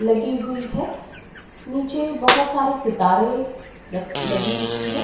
लगी हुई है। नीचे बहोत सारे सितारें रख लगी हुई है।